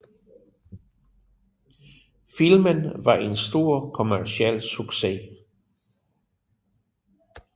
Filmen var en stor kommerciel succes